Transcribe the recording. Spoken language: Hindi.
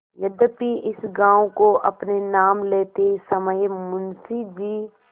यद्यपि इस गॉँव को अपने नाम लेते समय मुंशी जी